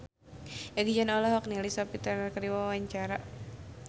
Egi John olohok ningali Sophie Turner keur diwawancara